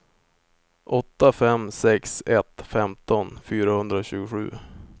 åtta fem sex ett femton fyrahundratjugosju